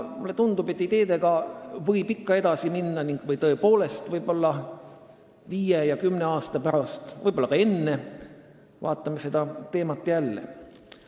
Mulle tundub, et ideedega võib ikka edasi minna ning viie või kümne aasta pärast, aga võib-olla ka varem vaatame seda teemat jälle.